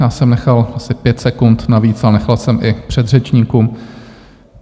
Já jsem nechal asi pět sekund navíc, ale nechal jsem i předřečníkům.